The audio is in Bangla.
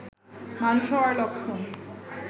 মানুষ হওয়ার লক্ষণ